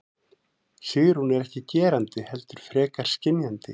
Sigrún er ekki gerandi heldur frekar skynjandi.